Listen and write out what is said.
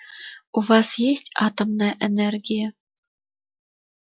у вас есть атомная энергия